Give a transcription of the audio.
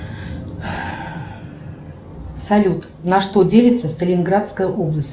салют на что делится сталинградская область